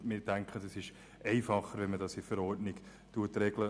Wir denken, es ist einfacher, dies in der Verordnung zu regeln.